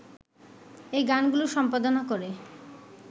এই গানগুলো সম্পাদনা করে